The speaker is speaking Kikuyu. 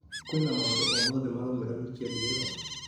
kwĩna maũndũ o mothe maraumĩra wikendi ĩno ?